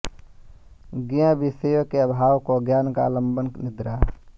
ज्ञेय विषयों के अभाव को ज्ञान का आलंबन निद्रा